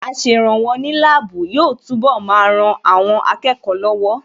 Aṣèrànwọ́ ní láàbù yóò túnbọ̀ máa ran àwọn akẹ́kọ̀ọ́ lọ́wọ́